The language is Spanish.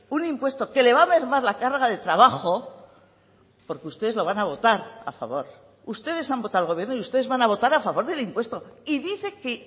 un impuesto que le va a mermar la carga de trabajo porque ustedes lo van a votar a favor ustedes han votado al gobierno y ustedes van a votar a favor del impuesto y dice que